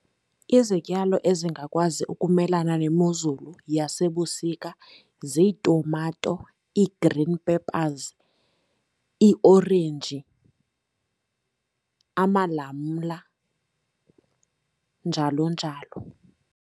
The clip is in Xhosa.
Izityalo ezingakwazi ukumelana nemozulu yasebusika ziitumato ii-green peppers, iiorenji, amalamla, njalo njalo.